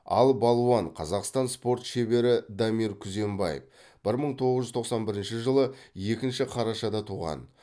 ал балуан қазақстан спорт шебері дамир күзембаев бір мың тоғыз жуз тоқсан бірінші жылы екінші қарашада туған